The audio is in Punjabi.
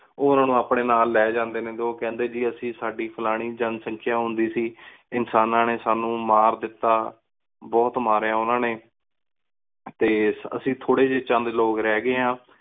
ਉਹ ਉਨਾ ਨੂੰ ਆਪਣੇ ਨਾਲ ਲੈ ਜਾਂਦੇ ਨੇ ਤੇ ਉਹ ਕਹਿੰਦੇ ਜੀ ਅਸੀਂ ਸਾਡੀ ਫਲਾਣੀ ਜਨਸੰਖਆ ਹੁੰਦੀ ਸੀ ਇਨਸਾਨਾ ਨੇ ਸਾਨੂ ਮਾਰ ਦਿਤਾ ਬੁਹਤ ਮਾਰਇਆ ਤੇ ਅਸੀਂ ਥੋੜੇ ਜੇ ਚੰਦ ਲੋਗ ਰਹ ਗੀ ਆਂ